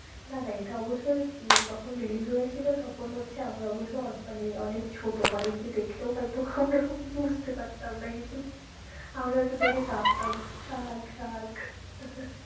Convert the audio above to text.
না না এটা অবশ্য যে যখন release হয়েছিল তখন হচ্ছে আমরা অবশ্য মানে অনেক ছোটো hall এ গিয়ে দেখলেও হয়তো বুঝতে পারতাম না কিছু আমরা হয়তো দেখে কাঁদতাম shark shark